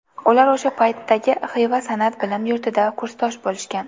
Ular o‘sha paytdagi Xiva san’at bilim yurtida kursdosh bo‘lishgan.